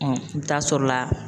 i bɛ taa sɔrɔ la